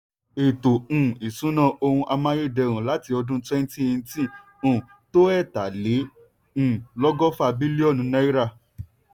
ètò um ìṣúná ohun amáyédẹrùn láti ọdún 2018 um tó ẹ̀tà lé um lọ́gọ́fà bílíọ̀nù náírà.